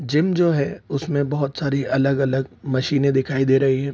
Gym जो है उसमे बहुत सारी अलग अलग मशीने दिखाई दे रही है ।